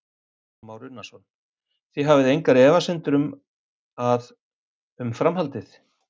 Kristján Már Unnarsson: Þið hafið engar efasemdir um að, um framhaldið?